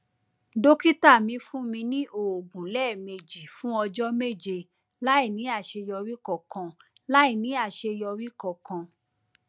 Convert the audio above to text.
dókítà mi fún mi ní oògùn lẹẹmejì fún ọjọ méje láìní àṣeyọrí kankan láìní àṣeyọrí kankan